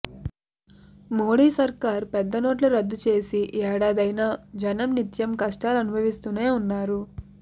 మోడీ సర్కార్ పెద్ద నోట్లు రద్దు చేసి ఏడాదైనా జనం నిత్యం కష్టాలు అనుభవిస్తూనే ఉన్నారు